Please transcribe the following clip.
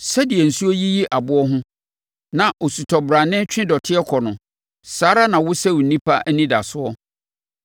sɛdeɛ nsuo yiyi aboɔ ho na osutɔ brane twe dɔteɛ kɔ no saa ara na wosɛe onipa anidasoɔ.